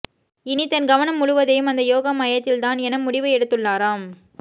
இனி தன் கவனம் முழுவதையும் அந்த யோகா மையத்தில் தான் என முடிவு எடுத்துள்ளாராம்